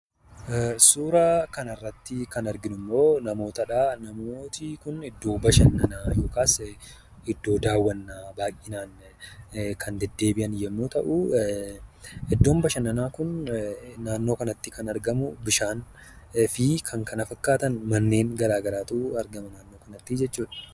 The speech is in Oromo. Suuraa kana irratti kan arginu ammoo namootadha. Namoonni kun iddoo bashannanaa yookas iddoo daawwannaa baay'inaan kan deddeebi'an yeroo ta'u, iddon bashannanaa kun naannoo kanatti kan argamu bishaaniifi kan kana fakkaatan manneen garaa garaatu argama naannoo kanattii jechuudha.